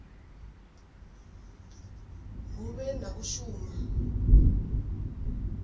hu vhe na u shuma